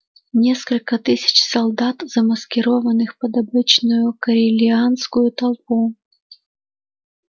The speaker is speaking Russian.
несколько тысяч солдат замаскированных под обычную корелианскую толпу